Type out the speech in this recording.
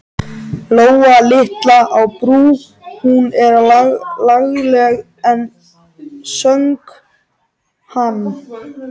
Lóa litla á Brú, hún er lagleg enn, söng hann.